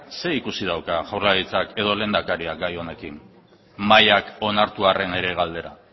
zer ikusi dauka jaurlaritzak edo lehendakariak gai honekin mahaiak onartu arren ere galdera